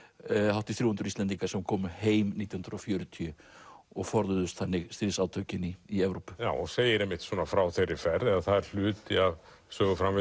hátt í þrjú hundruð Íslendingar sem komu heim nítján hundruð og fjörutíu og forðuðust þannig stríðsátökin í í Evrópu já og segir einmitt svona frá þeirri ferð eða það er hluti af